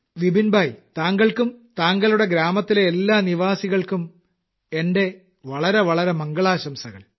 വിപിൻ ഭായ് താങ്കൾക്കും താങ്കളുടെ ഗ്രാമത്തിലെ എല്ലാ നിവാസികൾക്കും എന്റെ വളരെവളരെ മംഗളാശംസകൾ